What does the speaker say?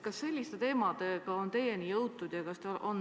Kas selliste teemadega on teieni jõutud?